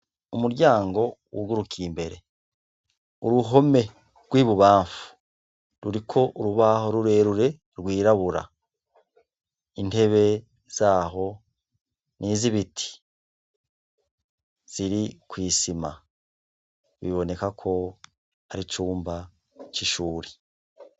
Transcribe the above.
Umuryango wugurukiye imbere, uruhome rw'ibubamfu ruriko urubaho rurerure rwirabura. Intebe zaho, ni iz'ibiti ziri kw'isima. Biboneka ko ari icumba c'ishure.